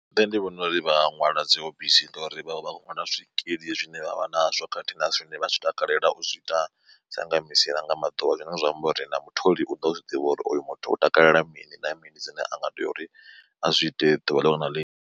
Nṋe ndi vhona uri vha ṅwala dzi hobisi ngauri vha vha ṅwala zwikili zwine vhavha nazwo khathihi na zwine vha zwi takalela u zwi ita sanga misi nanga maḓuvha zwine zwa amba uri na mutholi u ḓo zwi ḓivha uri oyo muthu u takalela mini na mini zwine a nga tea uri a zwi ite ḓuvha liṅwe na liṅwe.